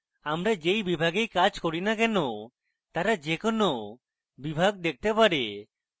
আমরা they বিভাগেই কাজ করিনা কেনো তারা they কোনো বিভাগ দেখতে পারে